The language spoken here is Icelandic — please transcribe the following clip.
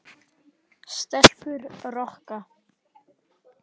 Stelpur Rokka!